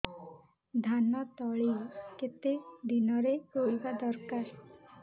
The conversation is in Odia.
ଧାନ ତଳି କେତେ ଦିନରେ ରୋଈବା ଦରକାର